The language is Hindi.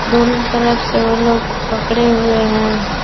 दोनों तरफ से वो लोग पकड़े हुए हैं।